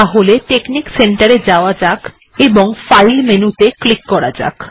তাহলে technic centre এ যাওয়া যাক এবং ফাইল মেনু ত়ে ক্লিক করা যাক